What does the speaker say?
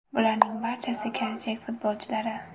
Bularning barchasi kelajak futbolchilari.